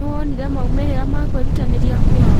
Nĩwonire maumĩrĩra ma kwĩrutanĩria kwao?